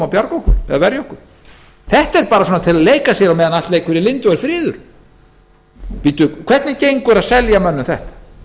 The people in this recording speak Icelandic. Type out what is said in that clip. koma og verja okkur þetta er bara til að leika sér á meðan allt leikur í lyndi á meðan það er friður hvernig gengur að selja mönnum þetta